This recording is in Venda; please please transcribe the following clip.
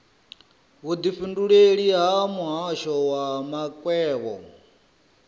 vhudifhinduleleli ha muhasho wa makwevho